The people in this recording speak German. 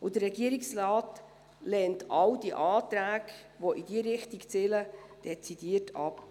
Der Regierungsrat lehnt all die Anträge, die in diese Richtung zielen, dezidiert ab.